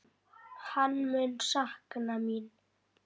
Kallar á eftir henni.